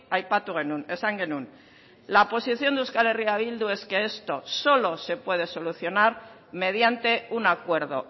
aipatu genuen esan genuen la posición de euskal herria bildu es que esto solo se puede solucionar mediante un acuerdo